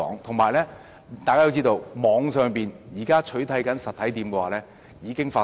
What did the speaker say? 大家要知道，網上店鋪取締實體店的情況已經發生。